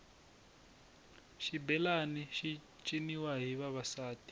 xibelani xi ciniwa hi vavasati